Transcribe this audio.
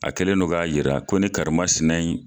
A kɛlen don k'a yira ko ne karimasinɛ in